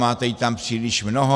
Máte jí tam příliš mnoho!